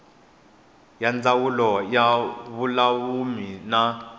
ya ndzawulo ya vululami na